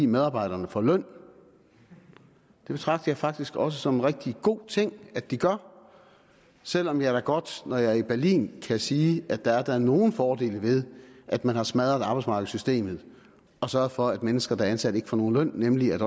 medarbejderne får løn det betragter jeg faktisk også som en rigtig god ting at de gør selv om jeg da godt når jeg er i berlin kan sige at der da er nogle fordele ved at man har smadret arbejdsmarkedssystemet og sørget for at mennesker der er ansat ikke får nogen løn nemlig at